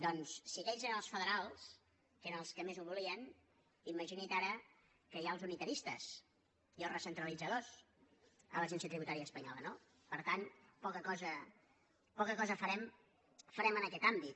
doncs si aquells eren els federals que eren els que més ho volien imagini’s ara que hi ha els unitaristes i els recentralitzadors a l’agència tributària espanyo·la no per tant poca cosa farem en aquest àmbit